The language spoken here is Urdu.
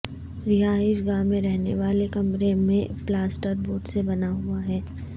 رہائش گاہ میں رہنے والے کمرے میں پلاسٹر بورڈ سے بنا ہوا